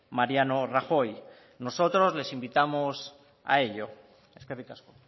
mariano rajoy nosotros les invitamos a ello eskerrik asko